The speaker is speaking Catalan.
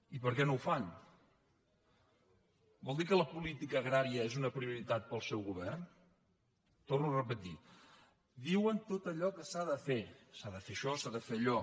i per què no ho fan vol dir que la política agrària és una prioritat pel seu govern ho torno a repetir diuen tot allò que s’ha de fer s’ha de fer això s’ha de fer allò